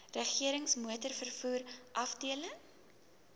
regerings motorvervoer afdeling